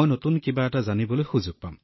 মই নতুন কিবা এটা শিকাৰ সুযোগ পাম